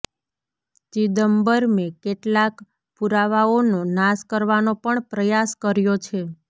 ચિદમ્બરમે કેટલાક પુરાવાઓનો નાશ કરવાનો પણ પ્રયાસ કર્યો છે